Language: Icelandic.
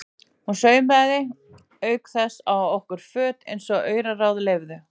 Hún saumaði auk þess á okkur föt eins og auraráð leyfðu.